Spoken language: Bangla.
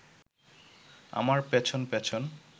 আমার পেছন পেছন